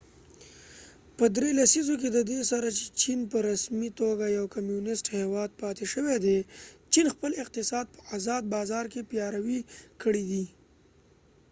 په درې لسیزو کې ددې سره چې چېن په رسمی توګه یو کمونست هیواد پاتی شوي دي چېن خپل اقتصاد په ازاد بازار کې پیاوری کړي دي